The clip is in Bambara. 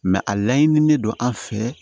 a laɲini ne don an fɛ